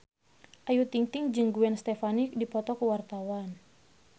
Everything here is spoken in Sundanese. Ayu Ting-ting jeung Gwen Stefani keur dipoto ku wartawan